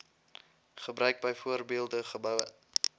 gebruik byvoorbeeld geboue